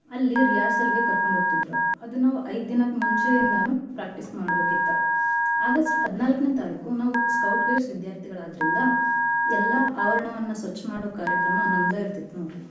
ಅಲ್ಲಿ rehearsal ಗೇ ಕರ್ಕೊಂಡ್ಹೋಗ್ತಿದ್ರು. ಅದನ್ನಾವು ಐದ್ದಿನಕ್ ಮುಂಚೆ ಇಂದನು practice ಮಾಡ್ಬೇಕಿತ್ತ. August ಹದ್ನಾಲ್ಕನೇ ತಾರೀಕು Scout Guides ವಿದ್ಯಾರ್ಥಿಗಳಾದ್ರಿಂದ ಎಲ್ಲಾ ಆವರಣವನ್ನ ಸ್ವಚ್ಚ ಮಾಡೋ ಕಾರ್ಯಕ್ರಮ ನಮ್ದ ಇರ್ತಿತ್ ನೋಡ್ರಿ.